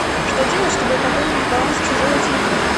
что делать чтобы пополнить баланс чужого телефона